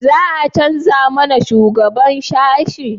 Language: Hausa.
za a canja mana shugaban sashi?